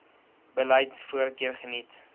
beleid voorkeur geniet